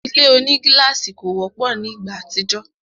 Ile onigílàsì kò wọ́pọ̀ ni ìgbà àtijọ́